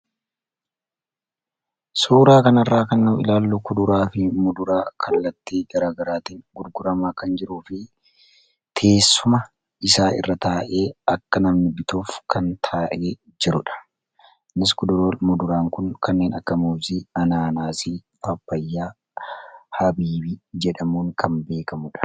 Suuraa kana irraa kan nu ilaallu kuduraa fi muduraa kallattii garagaraatiin gurguramaa kan jiruu fi teessuma isaa irra taa'ee akka namni bituuf kan taa'ee jirudha. Nus kuduraa fi muduraan kun kanneen akka muzii, anaanaasii, papayyaa, habiibi jedhamuun kan beekamudha.